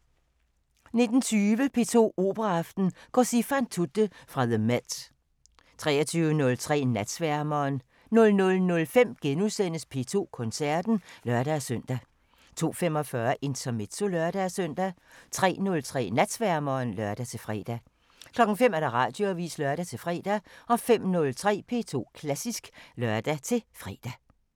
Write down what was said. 19:20: P2 Operaaften: Cosi fan tutte – fra the MET 23:03: Natsværmeren 00:05: P2 Koncerten *(lør-søn) 02:45: Intermezzo (lør-søn) 03:03: Natsværmeren (lør-fre) 05:00: Radioavisen (lør-fre) 05:03: P2 Klassisk (lør-fre)